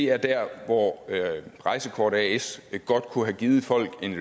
er der hvor rejsekort as godt kunne give folk en